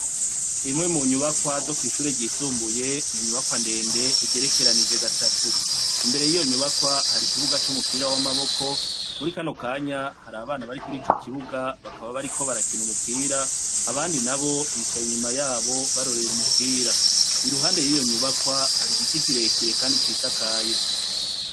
Imwe mu nyubakwa zo kw'ishuri ryisumbuye ninyubakwa ndende igerekeranije gatatu imbere y'iyo nyubakwa hari ikibuga c'umupira w'amaboko muri ikanokanya hari abana bari kuri ico kibuga bakaba bari ko barakina umupira abandi na bo bicaye inyuma yabo barorera umupira iruhande y'iyo nyubakwa hari igiti kirekire, kandi cisiakaye.